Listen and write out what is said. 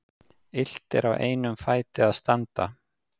Illt er á einum fæti að standa.